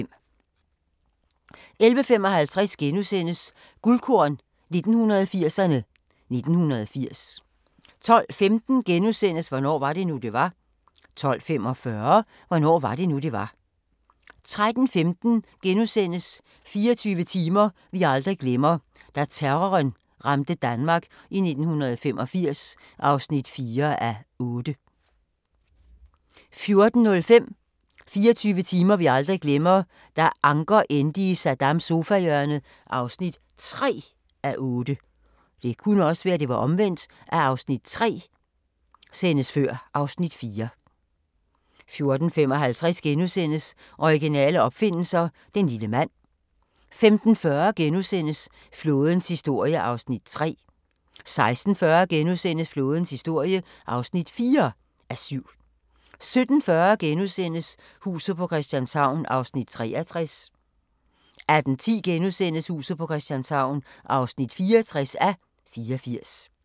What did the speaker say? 11:55: Guldkorn 1980'erne: 1980 * 12:15: Hvornår var det nu, det var? * 12:45: Hvornår var det nu, det var? 13:15: 24 timer vi aldrig glemmer: Da terroren ramte Danmark i 1985 (4:8)* 14:05: 24 timer vi aldrig glemmer: Da Anker endte i Saddams sofahjørne (3:8) 14:55: Originale opfindelser – den lille mand * 15:40: Flådens historie (3:7)* 16:40: Flådens historie (4:7)* 17:40: Huset på Christianshavn (63:84)* 18:10: Huset på Christianshavn (64:84)*